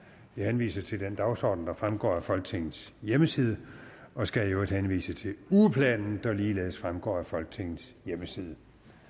jeg henviser til den dagsorden der fremgår af folketingets hjemmeside og skal i øvrigt henvise til ugeplanen der ligeledes fremgår af folketingets hjemmeside